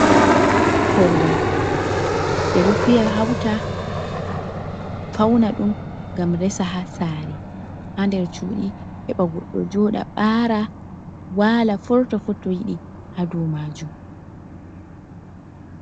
Korwal ɓe ɗo fiya hauta fauna ɗum gam resa ha tsare ha der cuuɗi heɓa goɗɗo joɗa, ɓara, wala forto fu to yiɗi ha domajun.